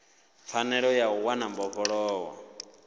pfanelo ya u wana mbofholowo